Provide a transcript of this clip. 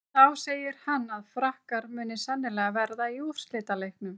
Þá segir hann að Frakkar muni sennilega verða í úrslitaleiknum.